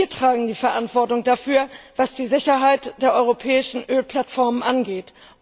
Wir tragen die Verantwortung dafür, was die Sicherheit der europäischen Ölplattformen angeht.